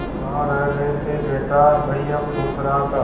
कहाँ रह गए थे बेटा भैया पूछ रहा था